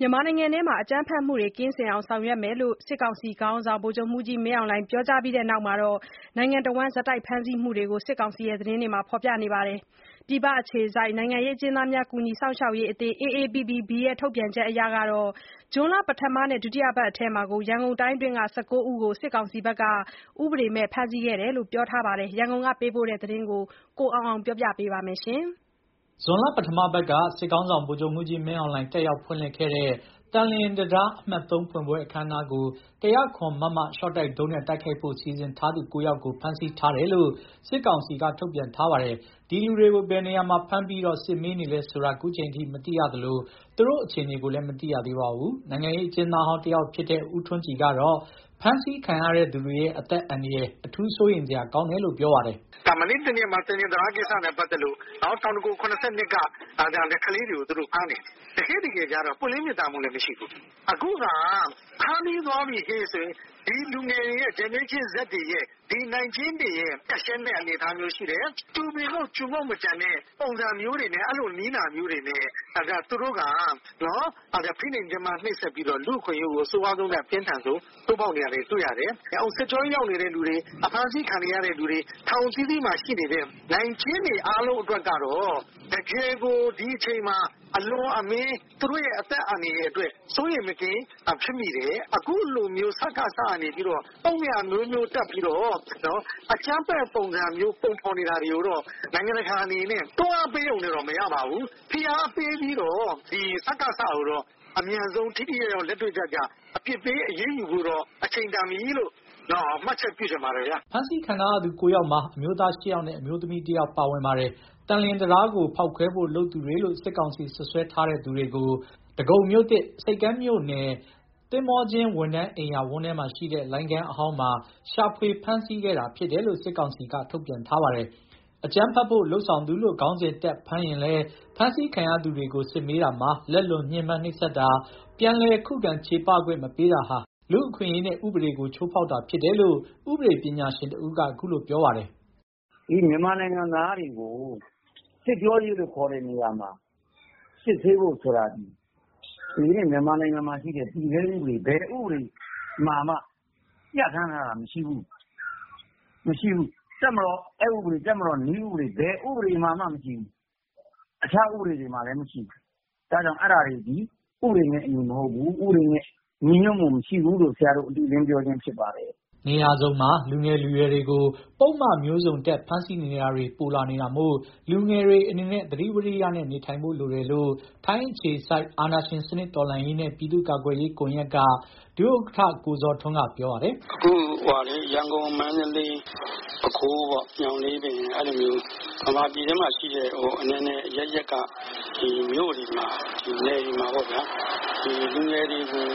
မြန်မာနိုင်ငံမှာ အကြမ်းဖက်မှုတွေ ကင်းစင်အောင်ဆောင်ရွက်ဖို့ စစ်ကောင်စီခေါင်းဆောင် ဗိုလ်ချုပ်မှူးကြီးမင်းအောင်လှိုင် မှာကြားခဲ့ပြီးနောက် နိုင်ငံတဝန်းဆက်တိုက်ဖမ်းဆီးမှုတွေကို စစ်ကောင်စီသတင်းတွေမှာ ဖေါ်ပြနေပါတယ်။ ပြည်ပအခြေစိုက် နိုင်ငံရေးအကျဉ်းသားများ ကူညီစောင့်ရှောက်ရေးအသင်း ထုတ်ပြန်ချက်အရ ဇွန်လပထမနဲ့ ဒုတိယပတ်အတွင်း ရန်ကုန်တိုင်းက ၁၉ ဦးကို စစ်ကောင်စီက ဥပဒေမဲ့ ဖမ်းဆီးခံခဲ့တယ်လို့ဖော်ပြပါတယ်။ ရန်ကုန်ကပေးပို့တဲ့သတင်းကို တင်ပြထားပါတယ်။ ဇွန်လပထမပတ်က စစ်ခေါင်းဆောင် ဗိုလ်ချုပ်မှူးကြီးမင်းအောင်လှိုင် တက်ရောက်ဖွင့်လှစ်ခဲ့တဲ့ သန်လျင်တံတား အမှတ် ဖွင့်ပွဲ အခမ်းအနားကို ၁၀၇ မမ ရှော့တိုက်ဒုံးနဲ့ တိုက်ခိုက်ဖို့ စီစဉ်ထားသူ ၉ ယောက်ကို ဖမ်းဆီးထားတယ်လို့ စစ်ကောင်စီက ထုတ်ပြန်ထားပါတယ်။ ဒီလူတွေကို ဘယ်နေရာမှာ ဖမ်းပြီးစစ်မေးနေလဲဆိုတာ ခုချိန်ထိ မသိရသလို သူတို့အခြေအနေကိုလည်းမသိရသေးပါဘူး။ နိုင်ငံရေးအကျဉ်းသားဟောင်းတယောက်ဖြစ်တဲ့ ဦးထွန်းကြည်ကတော့ ဖမ်းဆီးခံရတဲ့သူတွေရဲ့ အသက်အန္တရာယ်အထူး စိုးရိမ်စရာ ကောင်းတယ်လို့ ပြောပါတယ်။ "မနေ့တနေ့ကမှသန်လျင်တံတားကိစ္စနဲ့ပတ်သက်လို့ တောင်ဒဂုံ ၇၂ က ကလေးတွေကိုဖမ်းတယ်။ တကယ်တကယ်ကျတော့ ပွင့်လင်းမြင်သာမှု မရှိဘူး။ အခုကဖမ်းပြီးသွားပြီဟေ့ဆိုရင် ဒီလူငယ်တွေ နိုင်ကျဉ်းတွေကိုအပြတ်ရှင်းပလိုက်တဲ့အနေအထားဖြစ်နေတယ်။ ကျူပင်ခုတ်ကျူငုတ် မကျန်တဲ့နည်းနာတွေနဲ့ ဖိနှိပ်ညှင်းပန်းပြီး လူ့အခွင့်အရေးကိုအဆိုးဝါးဆုံး ချိုးဖောက်နေတယ်။ စစ်ကြောရေးရောက်နေသူတွေ အဖမ်းဆီးခံထားရသူတွေ ထောင်အသီးသီးမှာရှိတဲ့နိုင်ကျဉ်းတွေအားလုံးအတွက်ကတော့ တကယ်ကိုဒီအချိန်မှာအလွန်အမင်း သူတို့အသက်အန္တရာယ်ကို စိုးရိမ်မကင်းဖြစ်မိတယ်။ အခုလိုပုဒ်မအမျိုးမျိုးတပ်ပြီးတော့ အကြမ်းဖက်လုပ်နေတာကိုတော့ နိုင်ငံတကာဘက်က စကစကိုတော့အမြန်ဆုံးထိထိရောက်ရောက်အရေးယူသင့်တယ်။" ဖမ်းဆီးခံထားရသူ ၉ ယောက်မှာ အမျိုးသား ၈ ယောက်နဲ့ အမျိုးသမီး ၁ ယောက်ပါပါတယ်။ သန်လျင်တံတားကိုဖောက်ခွဲဖို့လုပ်သူတွေလို့ စစ်ကောင်စီစွပ်စွဲထားတဲ့သူတွေကို ဒဂုံမြို့သစ် မြို့ နယ်၊ သင်္ဘောကျင်းဝန်ထမ်းအိမ်ယာဝန်းထဲမှာရှိတဲ့ လိုင်းခန်းအဟောင်းမှာ ရှာဖွေဖမ်းဆီးခဲ့တာဖြစ်တယ်လို့ စစ်ကောင်စီဘက်က ထုတ်ပြန်ပါတယ်။ အကြမ်းဖက်ဖို့လုပ်ဆောင်သူလို့ ခေါင်းစဉ်တပ်ဖမ်းရင်လည်း ဖမ်းဆီးခံရသူတွေကို စစ်မေးတာမှာ လက်လွန်ညှင်းပန်းနှိပ်စက်တာ၊ ပြန်လည် ခုခံချေပခွင့်မပေးတာဟာ လူ့အခွင့်အရေးနဲ့ ဥပဒေကိုချိုးဖောက်တာဖြစ်တယ်လို့ ဥပဒေပညာရှင်တဦးကခုလိုပြောပါတယ်။ "မြန်မာနိုင်ငံသားတွေကို စစ်ကြောရေးလို့ခေါ်တဲ့နေရာမှာ စစ်ဆေးဖို့ဆိုတာသည် ဒီနေ့ မြန်မာနိုင်ငံမှာရှိတဲ့ တည်ဆဲဥပဒေ ဘယ်ဥပဒေမှာမှ ပြဌာန်းထားတာမရှိဘူး။ တပ်မတော်အက်ဥပဒေ၊ တပ်မတော်နည်းဥပဒေ၊ ဘယ်ဥပဒေမှာမှမရှိဘူး။ တခြားဥပဒေတွေမှာလည်းမရှိဘူး။ အဲဒါကြောင့် အဲဒါတွေသည် ဥပဒေနဲ့ အညီမဟုတ်ဘူး၊ ဥပဒေနဲ့ ညီညွတ်မှုမရှိဘူးလို့ ဆရာတို့ အတည်အလင်းပြောခြင်းဖြစ်ပါတယ်။" နေရာစုံမှာ လူငယ်လူရွယ်တွေကို ပုဒ်မမျိုးစုံတပ် ဖမ်းဆီးနေတာတွေ ပိုလာနေတာမို့ လူငယ်တွေအနေနဲ့သတိဝိရိယနဲ့ နေထိုင်ဖို့လိုနေတယ်လို့ ထိုင်းအခြေစိုက် အာဏာရှင်စနစ်တော်လှန်ရေးနဲ့ ပြည်သူ့ကာကွယ်ရေးကွန်ယက်က ဒုဥက္ကဋ္ဌ ကိုဇော်ထွန်းကပြောပါတယ်။ "ခုရန်ကုန်မန်းလေးပဲခူးညောင်လေးပင် ဗမာပြည်ထဲရှိတဲ့အနယ်နယ်အရပ်ရပ်က မြို့တွေနယ်တွေမှာပေါ့။ လူငယ်တွေကို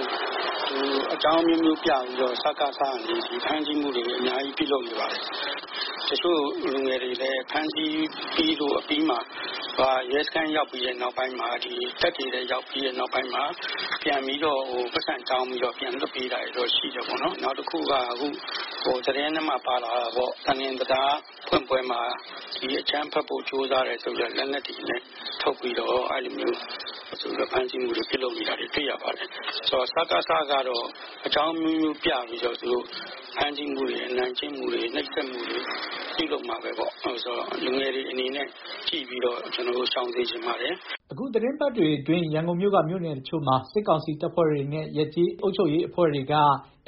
အကြောင်းအမျိုးမျိုး ပြပြီးတော့စကစက ဖမ်းဆီးမှုတွေအများကြီးလုပ်နေတယ်။ တချို့လူငယ်တွေလည်းဖမ်းဆီးခံရပြီးရဲစခန်းရောက်ပြီးတော့ ပြန်ပိုက်ဆံတောင်း ပြီးတော့ ပြန်လွှတ်ပေးတာရှိတယ်။ နောက်သန်လျင်တံတားဖောက်ခွဲဖို့ လုပ်လို့ဆိုပြီး လူငယ်တွေဖမ်းဆီးခံရတာတွေ့ရတယ်။ စကစကနေပြီးတော့ အကြောင်းအမျိုးမျိုး ဖမ်းဆီးမှုတွေ အနိုင်ကျင့်မှုတွေနှိပ်စက်မှုတွေ ပြုလုပ်မှာဘဲ။ လူငယ်တွေအနေနဲ့ သတိထားရှောင်စေချင်ပါတယ်။" အခုသီတင်းပတ်တွေအတွင်း ရန်ကုန်မြို့က မြို့နယ်တချို့မှာ စစ်ကောင်စီတပ်ဖွဲ့တွေနဲ့ ရပ်ကျေးအုပ်ချုပ်ရေးအဖွဲ့တွေက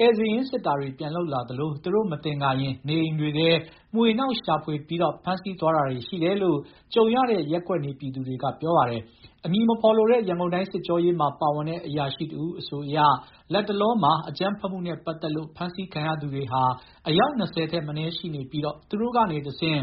ဧည့်စာရင်း စစ်တာ တွေ ပြန်လုပ်လာသလို သူတို့ မသင်္ကာရင် နေအိမ်တွေထဲ မွှေနှောက်ရှာဖွေကာ ဖမ်းဆီးသွားတာတွေရှိတယ်လို့ ကြုံရတဲ့ရပ်ကွက်နေပြည်သူ တွေကပြောပါတယ်။ အမည်မဖော်လိုတဲ့ ရန်ကုန်တိုင်းစစ်ကြောရေးမှာပါဝင်တဲ့ အရာရှိတဦးအဆိုအရ လတ်တလောမှာ အကြမ်းဖက်မှုနဲ့ ပတ်သက်လို့ ဖမ်းဆီးခံရသူတွေဟာ အယောက် ၂၀ ထက်မနည်းရှိနေပြီး သူတို့ကနေတဆင့်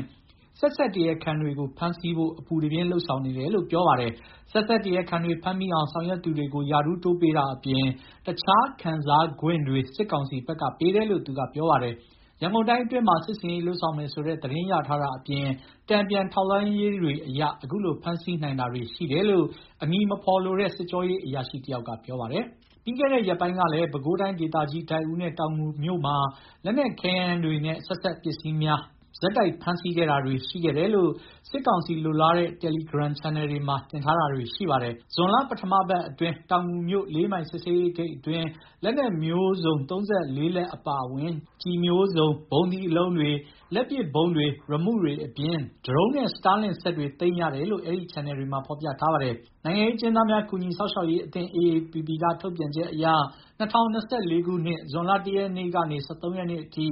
ဆက်စပ်တရားခံတွေကို ဖမ်းဆီးဖို့ အပူတပြင်းလုပ်ဆောင်နေတယ်လို့ ပြောပါတယ်။ ဆက်စပ်တရားခံတွေ ဖမ်းမိအောင်ဆောင်ရွက်သူတွေကို ရာထူးတိုးပေးတာအပြင် တခြားခံစားခွင့်တွေ စစ်ကောင်စီဘက်ကပေးတယ်လို့ သူကပြောပါတယ်။ ရန်ကုန်တိုင်းအတွင်းမှာ စစ်ဆင်ရေးလုပ်ဆောင်မယ်ဆိုတဲ့ သတင်းရထားတာအပြင် တန်ပြန်ထောက်လှမ်းရေးတွေအရ အခုလိုဖမ်းဆီးနိုင်တာတွေရှိခဲ့တာလို့ အမည်မဖော်လိုတဲ့ စစ်ကြောရေးအရာရှိတယောက်က ပြောပြပါတယ်။ ပြီးခဲ့တဲ့ ရက်ပိုင်းကလည်း ပဲခူးတိုင်းဒေသကြီး ဒိုက်ဦးနဲ့ တောင်ငူမြို့တို့တွေမှာ လက်နက်ခဲယမ်းများနဲ့ဆက်စပ်ပစ္စည်းများ ဆက်တိုက်ဖမ်းဆီးခဲ့တာတွေရှိခဲ့တယ်လို့ စစ်ကောင်စီလိုလားတဲ့ တယ်လီဂရမ်ချယ်နယ်တွေမှာတင်ထားတာတွေရှိပါတယ်။ ဇွန်လပထမပတ်မှာတောင်ငူမြို့ လေးမိုင်စစ်ဆေးရေးဂိတ်မှာ လက်နက်မျိုးစုံ ၃၄ လက်အပါအဝင် ကျည်မျိုးစုံ၊ ဗုံးသီးအလုံးတွေ၊ လက်ပစ်ဗုံးတွေ၊ရီမုတွေအပြင် ဒရုန်းနဲ့ စတားလင့်စက်တွေ သိမ်းရတယ်လို့ အဲဒီချန်နယ်တွေမှာ ဖော်ပြထားပါတယ်။ နိုင်ငံရေးအကျဉ်းသားများ ကူညီစောင့်ရှောက်ရေးအသင်း က ထုတ်ပြန်ချက်အရ ၂၀၂၄ ခုနှစ် ဇွန်လ ၁ ရက်နေ့ကနေ ၁၃ ရက်နေ့အထိ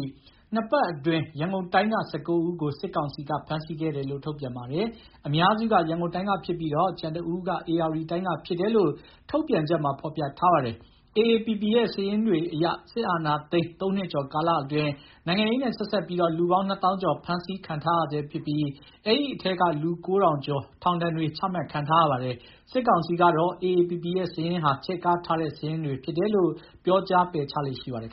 နှစ်ပတ်အတွင်း ရန်ကုန်တိုင်းက ၁၉ ဦးကို စစ်ကောင်စီက ဖမ်းဆီးခဲ့တယ်လို့ ထုတ်ပြန်ပါတယ်။ အများစုက ရန်ကုန်တိုင်းကဖြစ်ပြီး ကျန်တစ်ဦးက ဧရာဝတီတိုင်းက ဖြစ်တယ်လို့ ထုတ်ပြန်ချက်မှာဖော်ပြထားပါတယ်။ AAPP ရဲ့ စာရင်းတွေအရ စစ်အာဏာသိမ်း သုံးနှစ်ကျော်ကာလအတွင်း နိုင်ငံရေးနဲ့ဆက်စပ်ပြီး လူပေါင်းနှစ်သောင်းကျော် ဖမ်းဆီးခံထားရဆဲဖြစ်ပြီး အဲဒီအထဲက လူကိုးထောင်ကျော် ထောင်ဒဏ်တွေ ချမှတ်ခံထားရပါတယ်။ စစ်ကောင်စီကတော့ AAPP ရဲ့စာရင်းဟာ ချဲ့ကားထားတဲ့ စာရင်းတွေဖြစ်တယ်လို့ ပြောကြားပယ်ချလေ့ရှိပါတယ်